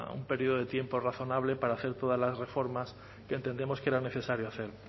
un periodo de tiempo razonable para hacer todas las reformas que entendemos que era necesario hacer